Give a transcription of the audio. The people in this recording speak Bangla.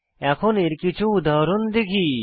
এখন এর কিছু উদাহরণ দেখি